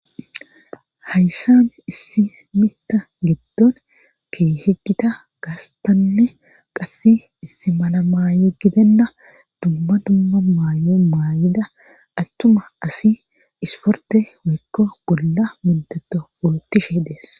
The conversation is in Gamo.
Hayssan issimitta giddon ke heggita gaastanne qass issi mala maayo gidenna dumma dumma maayo maayida attuma asi isporte weykko bolla mondeto wolotishe dees.